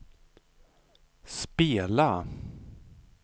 spela